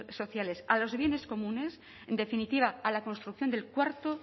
sociales a los bienes comunes en definitiva a la construcción del cuarto